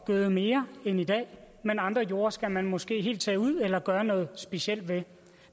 gøde mere end i dag men andre jorder skal man måske helt tage ud eller gøre noget specielt ved